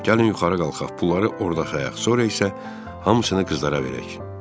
Gəlin yuxarı qalxaq, pulları orda xalayaq, sonra isə hamısını qızlara verək.